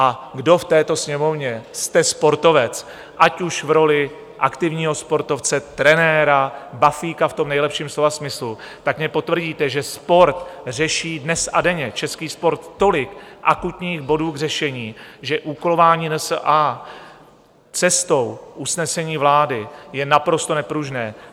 A kdo v této Sněmovně jste sportovec, ať už v roli aktivního sportovce, trenéra, bafíka v tom nejlepším slova smyslu, tak mně potvrdíte, že sport řeší dnes a denně český sport tolik akutních bodů k řešení, že úkolování NSA cestou usnesení vlády je naprosto nepružné.